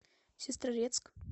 сестрорецк